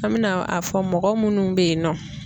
An mɛna a fɔ mɔgɔ munnu be yen nɔ